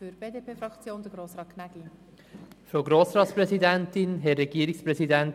Für die BDP-Fraktion hat Grossrat Gnägi das Wort.